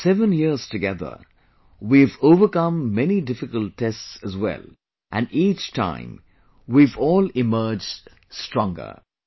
In these 7 years together, we have overcome many difficult tests as well, and each time we have all emerged stronger